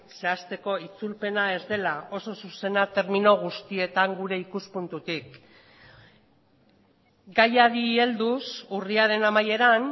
zehazteko itzulpena ez dela oso zuzena termino guztietan gure ikuspuntutik gaiari helduz urriaren amaieran